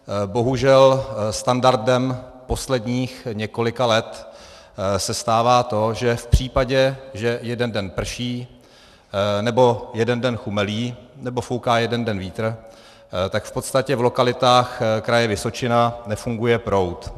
Bohužel standardem posledních několika let se stává to, že v případě, že jeden den prší nebo jeden den chumelí nebo fouká jeden den vítr, tak v podstatě v lokalitách Kraje Vysočina nefunguje proud.